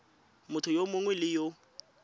motho yo mongwe le yo